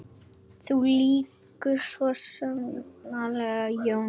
Þú lýgur því, sagði Jón.